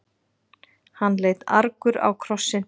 Hann leit argur á krossinn.